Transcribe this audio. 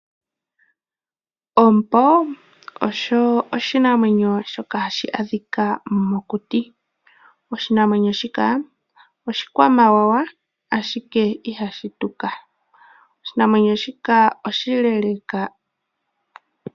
Ompo oshinamwenyo shoka hashi adhika mokuti. Oshinanwenyo shika oshikwamawawa, ihe ihashi tuka oshinamwenyo shika oshileleka.